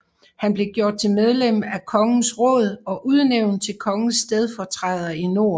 Han blev gjort til medlem af kongens råd og udnævnt til kongens stedfortræder i nord